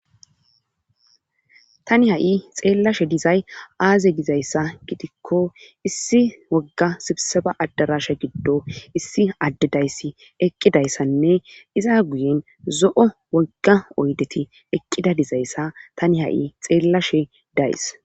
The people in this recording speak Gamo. tani ha7i xeellashe dizay aaze dizayssa gidikko issi wogga sibsaba addarasha giddo issi adde dayssi eqqidayssanne iza guyen zo7o wogga oydeti eqqida dizayssa tani ha7i xeellashe daysi.